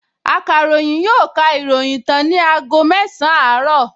Akàròyìn yóò ka ìròyìn tán ní aago mẹsàn-án àárọ̀